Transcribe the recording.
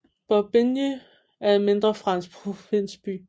Bobigny er en mindre fransk provinsby